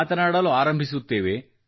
ಮಾತನಾಡಲು ಆರಂಭಿಸುತ್ತೇವೆ